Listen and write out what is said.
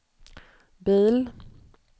bil